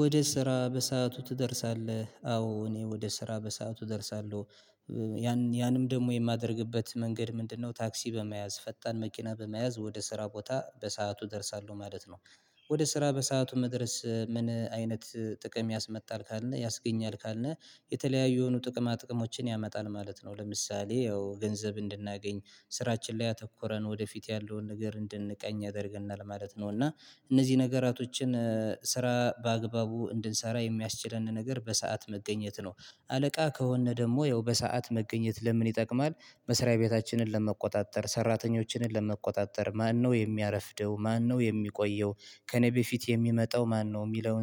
ወደ ስራ በሰአቱ ትደርሳለህ? አዎ እኔ ወደ ስራ በሰአቱ እደርሳለሁ። ያን ያንም ደግሞ የማደርግበት መንገድ ምንድነው ታክሲ በመያዝ ፈጣን መኪና በመያዝ ወደ ስራ ቦታ በሰአቱ እደርሳለሁ ማለት ነው። ወደ ስራ በሰአቱ መድረስ ምን አይነት ጥቅም ያስመጣል ካልነህ ያስገኛል ካልነ የተለያዩ የሆኑ ጥቅማ ጥቅሞችን ያመጣል ማለት ነው። ለምሳሌ ያው ገንዘብ እንድናገኝ ስራችን ላይ አተኩረን ወደፊት ያለውን ነገር እንድንቀኝ ያደርገናል ማለት ነው እና እነዚህ ነገራቶችን ስራ በአግባቡ እንድንሰራ የሚያስችለንን ነገር በሰአት መገኘት ነው። አለቃህ ከሆነ ደግሞ ያው በሰአት መገኘት ለምን ይጠቅማል መስሪያ ቤታችንን ለመቆጣጠር፣ ሰራተኞችንን ለመቆጣጠር፣ ማነው የሚያረፍደው፣ ማነው የሚቆየው፣ ከእኔ በፊት የሚመጣው ማነው፣ የሚለውን ሰው ለይተን መስሪያ ቤታችንን ለመቆጣጠር፣ ሰራተኞችንን ለመቆጣጠር፣ ማነው የሚያረፍደው፣ ማነው የሚቆየው፣ ከእኔ በፊት የሚመጣው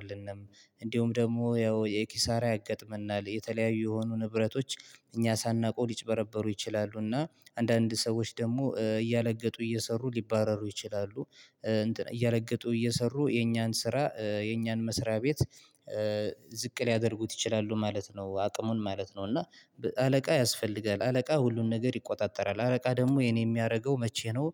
ማነው፣ የሚለውን ሰው ለይተን እንዲሁም ደግሞ ያው የኪሳራ ያጋጥመናል። የተለያዩ የሆኑ ንብረቶች እኛ ሳናቀው ሊጭበረበሩ ይችላሉ እና አንዳንድ ሰዎች ደግሞ እያለገጡ እየሰሩ ሊባረሩ ይችላሉ። እያለገጡ እየሰሩ የኛን ስራ የኛን መስሪያ ቤት ዝቅ ሊያደርጉት ይችላሉ ማለት ነው አቅሙን ማለት ነው። እና አለቃ ያስፈልጋል፣ አለቃ ሁሉን ነገር ይቆጣጠራል፣ አለቃ ደግሞ ይህን የሚያደርገው መቼ ነው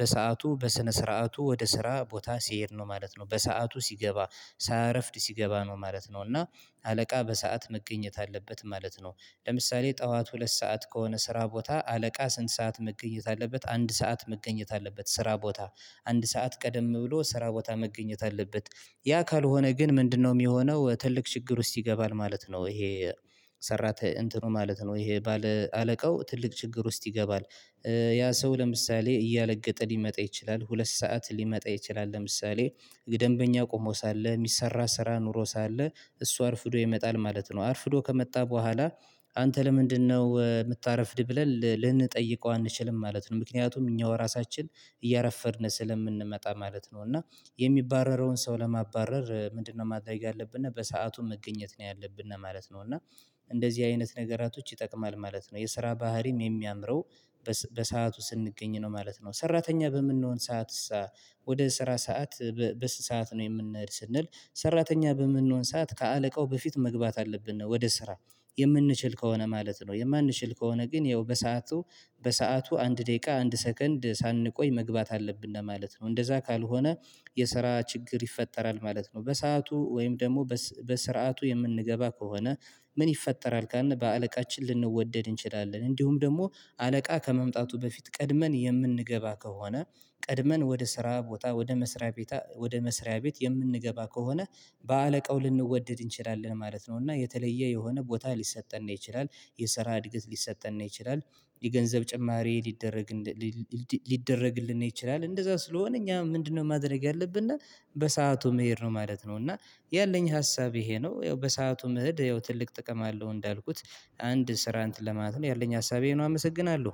በሰአቱ በስነ ስርዓቱ ወደ ስራ ቦታ ሲሄድ ነው ማለት ነው። በሰአቱ ሲገባ፣ ሳያረፍድ ሲገባ ነው ማለት ነው። እና አለቃ በሰአት መገኘት አለበት ማለት ነው። ለምሳሌ ጠዋት ሁለት ሰዓት ከሆነ ስራ ቦታ አለቃ ስንት ሰዓት መገኘት አለበት አንድ ሰዓት መገኘት አለበት ስራ ቦታ። አንድ ሰዓት ቀደም ብሎ ስራ ቦታ መገኘት አለበት ያ ካልሆነ ግን ምንድነው የሚሆነው ትልቅ ችግር ውስጥ ይገባል ማለት ነው። ይሄ ሰራተ እንትኑ ማለት ነው ይሄ ባለ አለቃው ትልቅ ችግር ውስጥ ይገባል ያ ሰው ለምሳሌ እያለገጠ ሊመጣ ይችላል ሁለት ሰዓት ሊመጣ ይችላል ለምሳሌ ለደንበኛው ቆሞ ሳለ፣ የሚሰራ ስራ ኑሮ ሳለ፣ እሱ አርፍዶ ይመጣል ማለት ነው። አርፍዶ ከመጣ በኋላ አንተ ለምንድነው የምታረፍድ ብለን ልንጠይቀው አንችልም ማለት ነው። ምክንያቱም እኛ ራሳችን እያረፈድን ስለምንመጣ ማለት ነው። እና የሚባረረውን ሰው ለማባረር ምንድነው ማድረ ያለብን እና በሰአቱ መገኘት ነው ያለብንና ማለት ነው። እና እንደዚህ አይነት ነገራቶች ይጠቅማል ማለት ነው። የስራ ባህሪም የሚያምረው በሰአቱ ስንገኝ ነው ማለት ነው። ሰራተኛ በምንሆን ሰዓት ወደ ስራ ሰዓት በስንት ሰዓት ነው የምንሄድ ስንል ሰራተኛ በምንሆን ሰዓት ከአለቃው በፊት መግባት አለብን ነው ወደ ስራ። የምንችል ከሆነ ማለት ነው የማንችል ከሆነ ግን ያው በሰአቱ በሰአቱ አንድ ደቂቃ አንድ ሰከንድ ሳንቆይ መግባት አለብን ማለት ነው። እንደዛ ካልሆነ የስራ ችግር ይፈጠራል ማለት ነው በሰአቱ ወይም ደግሞ በስርዓቱ የምንገባ ከሆነ ምን ይፈጠራል ካልን በአለቃችን ልንወደድ እንችላለን እንዲሁም ደግሞ አለቃ ከመምጣቱ በፊት ቀድመን የምንገባ ከሆነ ቀድመን ወደ ስራ ቦታ ወደ መስሪያ ቤት ወደ መስሪያ ቤት የምንገባ ከሆነ በአለቃው ልንወደድ እንችላለን ማለት ነው እና የተለየ የሆነ ቦታ ሊሰጠንነ ይችላል፣ የሰራ እድገት ሊሰጠነ፣ ይችላል የገንዘብ ጭማሪ ሊደረግ ሊደረግልን ይችላል እንደዛ ስለሆነ እኛ ምንድነው ማድረግ ያለብነ በሰአቱ መሄድ ነው ማለት ነው እና ያለኝ ሀሳብ ይሄ ነው ያው በሰአቱም መኸድ ያው ትልቅ ጥቅም አለው። እንዳልኩት አንድ ስራ አንትን ለማለት ነው ያለኝ ሀሳብ ይኸ ነው አመሰግናለሁ።